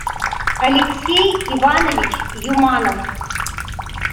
алексей иванович юманов